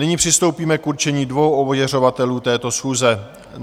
Nyní přistoupíme k určení dvou ověřovatelů této schůze.